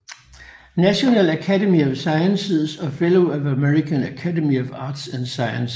National Academy of Sciences og Fellow af American Academy of Arts and Sciences